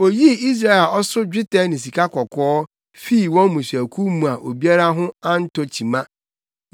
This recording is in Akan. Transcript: Oyii Israel a ɔso dwetɛ ne sikakɔkɔɔ fii wɔn mmusuakuw mu a obiara ho antɔ kyima.